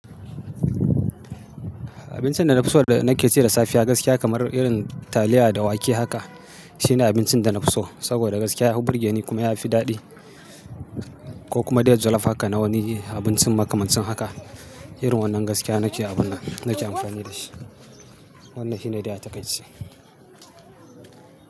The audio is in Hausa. Abincin da na fi so da nake ci da safiya gaskiya kamar irin taliya da wake haka shine abincin da na fi so saboda gaskiya ya fi burge ni kuma ya fi daɗi ko kuma dai jollof haka na wani abincin makamancin haka. Irin wannan gaskiya nake amfani da shi. Wannan shi ne daia taƙai ce.